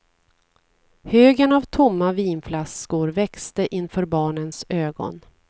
Högen av tomma vinflaskor växte inför barnens ögon.